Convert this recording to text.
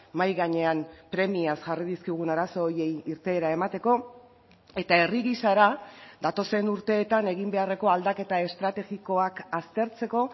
mahai gainean premiaz jarri dizkigun arazo horiei irteera emateko eta herri gisara datozen urteetan egin beharreko aldaketa estrategikoak aztertzeko